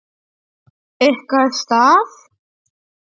Ykkar stað?